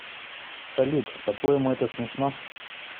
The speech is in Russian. салют по твоему это смешно